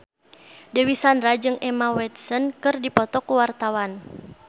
Dewi Sandra jeung Emma Watson keur dipoto ku wartawan